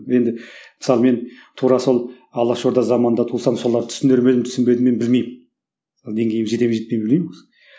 енді мысалы мен тура сол алаш орда заманында тусам соларды түсінер ме едім түсінбедім бе едім мен білмеймін деңгейім жете ме жетпей ме білмеймін